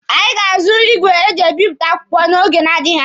Anyị ga-azụ igwe eji ebipụta akwụkwọ n'oge na-adịghị anya.